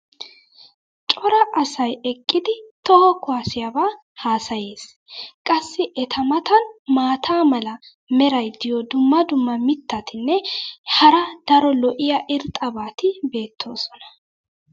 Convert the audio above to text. cora asay eqqidi toho kuwaassiyaba haasayees. qassi eta matan maata mala meray diyo dumma dumma mitatinne hara daro lo'iya irxxabati beetoosona.